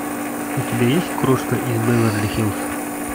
у тебя есть крошка из беверли хиллз